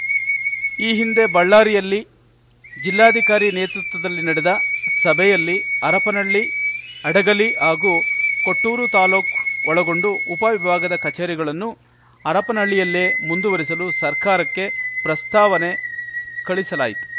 ಈ ಹಿಂದೆ ಬಳ್ಳಾರಿಯಲ್ಲಿ ಜಿಲ್ಲಾಧಿಕಾರಿ ನೇತೃತ್ವದಲ್ಲಿ ನಡೆದ ಸಭೆಯಲ್ಲಿ ಹರಪನಹಳ್ಳಿ ಹಡಗಲಿ ಹಾಗೂ ಕೊಟ್ಟೂರು ತಾಲೂಕು ಒಳಗೊಂಡು ಉಪವಿಭಾಗದ ಕಚೇರಿಗಳನ್ನು ಹರಪನಹಳ್ಳಿಯಲ್ಲೇ ಮುಂದುವರೆಸಲು ಸರ್ಕಾರಕ್ಕೆ ಪ್ರಸ್ತಾವನೆ ಕಳಿಸಲಾಯಿತ್ತು